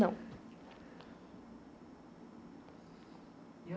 Não.